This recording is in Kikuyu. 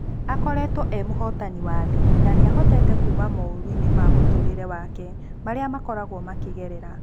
Akoretwo e muhotani wa thĩĩ na nĩa nĩahotete kuuma moruinĩ ma mũtũrerĩ wake marĩa makoragwo makĩgerera.